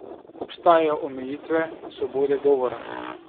Obstajajo omejitve svobode govora?